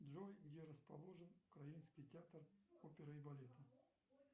джой где расположен украинский театр оперы и балета